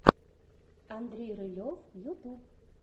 андрей рылев ютуб